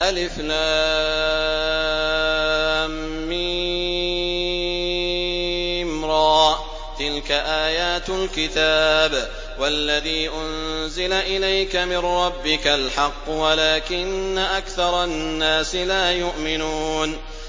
المر ۚ تِلْكَ آيَاتُ الْكِتَابِ ۗ وَالَّذِي أُنزِلَ إِلَيْكَ مِن رَّبِّكَ الْحَقُّ وَلَٰكِنَّ أَكْثَرَ النَّاسِ لَا يُؤْمِنُونَ